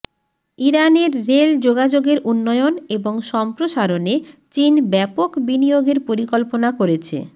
ইরানের রেল যোগাযোগের উন্নয়ন এবং সম্প্রসারণে চীন ব্যাপক বিনিয়োগের পরিকল্পনা করেছে